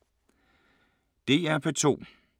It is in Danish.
DR P2